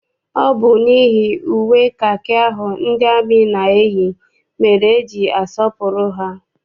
Ọ bụ n'ihi uwe kakị ahụ ndị amị na-eyi mere eji asọpụrụ ha.